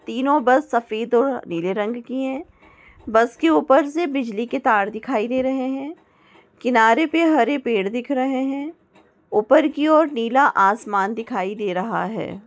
तीनो बस सफेद और नीले रंग की है बस के ऊपर से बिजली के तार दिखाई दे रहे है किनारे पे हरे पेड़ दिख रहे है ऊपर की और नीला आसमान दिखाई दे रहा है।